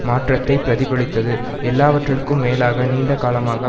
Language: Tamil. மாற்றத்தை பிரதிபலித்தது எல்லாவற்றிற்கும் மேலாக நீண்ட காலமாக